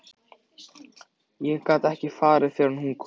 Ég gat ekki farið fyrr en hún kom.